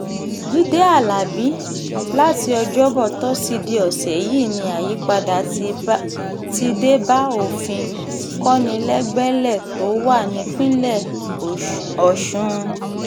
jíde alábí láti ọjọ́bọ́ tọ́sídẹ̀ẹ́ ọ̀sẹ̀ yìí ni àyípadà ti dé bá òfin kọnilẹgbẹlẹ̀ tó wà nípìnlẹ̀ ọ̀sùn